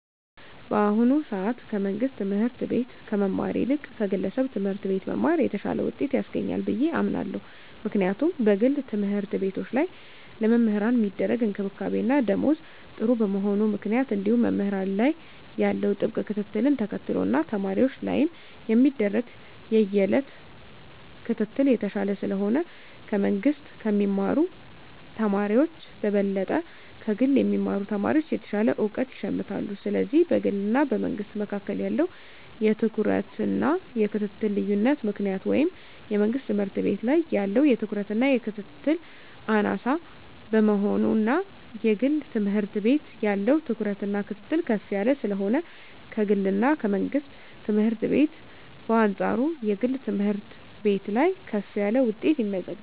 በአሁኑ ሰአት ከመንግስት ትምህርት ቤት ከመማር ይልቅ ከግለሰብ ትምህርት ቤት መማር የተሻለ ውጤት ያስገኛል ብየ አምናለው ምክንያቱም በግል ተምህርትቤቶች ላይ ለመምህራን ሚደረግ እንክብካቤና ደሞዝ ጥሩ በመሆኑ ምክንያት እንዲሁም መምህራን ላይ ያለው ጥብቅ ክትትልን ተከትሎ እና ተማሪወች ላይም የሚደረግ የየእለት ክትትል የተሻለ ስለሆነ ከመንግስ ከሚማሩ ተማሪወች በበለጠ ከግል የሚማሩ ተማሪወች የተሻለ እውቀት ይሸምታሉ ስለዚህ በግልና በመንግስ መካከል ባለው የትኩረትና የክትትል ልዮነት ምክንያት ወይም የመንግስት ትምህርት ቤት ላይ ያለው ትኩረትና ክትትል አናሳ በመሆኑና የግል ትምህርት ቤት ያለው ትኩረትና ክትትል ከፍ ያለ ስለሆነ ከግልና ከመንግስት ትምህርት ቤት በአንጻሩ የግል ትምህርት ቤት ላይ ከፍ ያለ ውጤት ይመዘገባል።